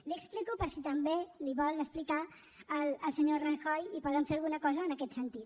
l’hi explico per si també l’hi vol explicar al senyor rajoy i poden fer alguna cosa en aquest sentit